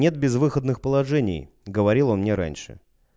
нет безвыходных положений говорил он мне раньше